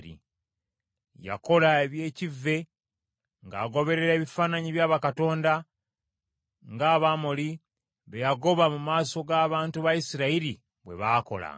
Yakola eby’ekivve ng’agoberera ebifaananyi bya bakatonda, ng’Abamoli be yagoba mu maaso g’abantu ba Isirayiri bwe baakolanga.